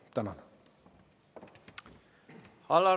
Tänan!